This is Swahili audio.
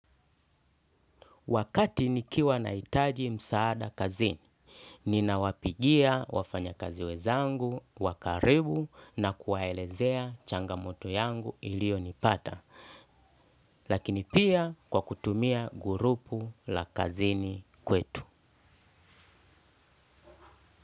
Wakati nikiwa nahitaji msaada kazini, ninawapigia wafanyakazi wenzangu, wa karibu na kuwaelezea changamoto yangu ilio nipata, lakini pia kwa kutumia grupu la kazini kwetu.